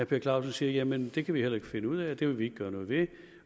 per clausen siger jamen det kan vi heller ikke finde ud af og det vil vi ikke gøre noget ved